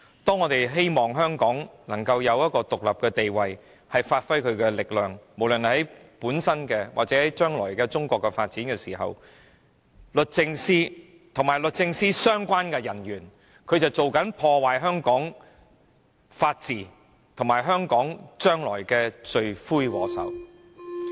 當我們希望香港擁有獨立的地位，以便無論在本身或中國將來的發展中發揮力量時，律政司司長和律政司的相關人員卻在破壞香港的法治，他們是破壞香港未來的罪魁禍首。